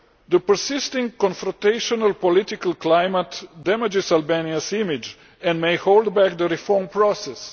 The persistent confrontational political climate damages Albania's image and may hold back the reform process.